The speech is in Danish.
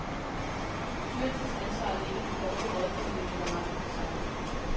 Styrelsens ansvar ligger i dårlig rådgivning eller mangel på samme.